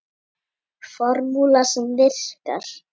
Formúla sem virkar.